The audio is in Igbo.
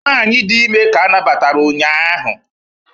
nwanyị dị ime ka a nabatara ụnyahụ